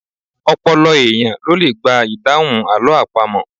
Ọlọ́pọlọ èèyàn ló le gba ìdáhùn àlọ́ àpamọ̀